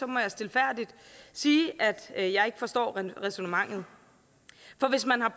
jeg stilfærdigt sige at jeg ikke forstår ræsonnementet for hvis man har